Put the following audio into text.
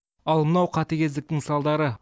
ал мынау қатігездіктің салдары